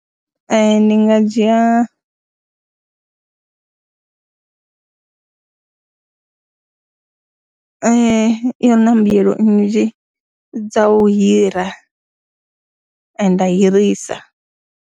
Ee, ndi nga dzhia i na mbuyelo nnzhi dza u hira, nda hirisa.